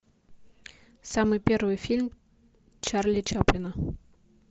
самый первый фильм чарли чаплина